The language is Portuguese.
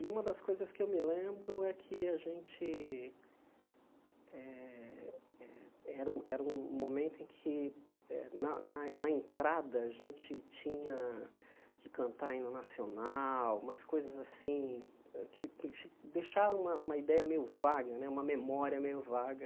E uma das coisas que eu me lembro é que a gente... Eh eh era um era um momento em que, na na na entrada, a gente tinha que cantar hino Nacional, umas coisas assim que deixaram uma uma ideia meio vaga, uma memória meio vaga.